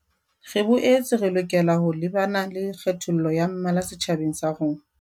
Re boetse re lokela ho lebana le kgethollo ya mmala setjhabeng sa rona.